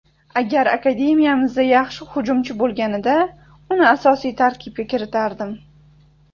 Agar akademiyamizda yaxshi hujumchi bo‘lganida uni asosiy tarkibga kiritardim.